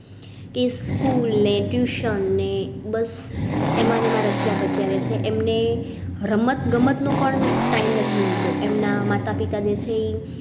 School ને tuition ને. બસ એમાં એમાજ રચ્યા પચ્યા શે એમ ને રમત ગમતનું પણ time નથી મળતો એમના માતા પિતા જે છે ઇ